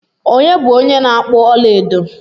Onye bu onye na-akpu ọla edo?